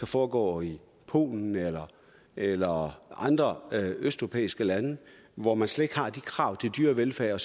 foregå i polen eller eller andre østeuropæiske lande hvor man slet ikke har de krav til dyrevelfærd